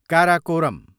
Karakoram